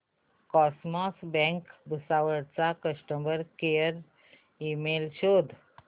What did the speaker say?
cosmos bank Bhusawal चा customer care email शोध